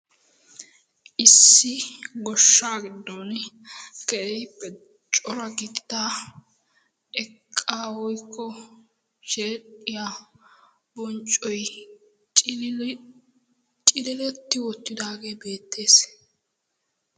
issi goshshaa giddon keehippe cora gidida eqqaa woykko sheedhdhiya bonccoy cililetti uttidaagee beettees.